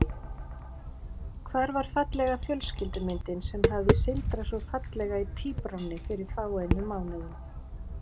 Hvar var fallega fjölskyldumyndin sem hafði sindrað svo fallega í tíbránni fyrir fáeinum mánuðum?